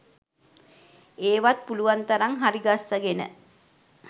ඒවත් පුළුවන් තරම් හරිගස්ස්ගෙන